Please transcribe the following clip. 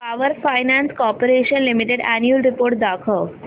power finance corporation limited annual report दाखव